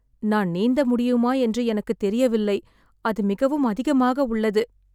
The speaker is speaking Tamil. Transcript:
நான் நீந்த முடியுமா என்று எனக்குத் தெரியவில்லை, அது மிகவும் அதிகமாக உள்ளது.